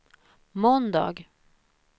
måndag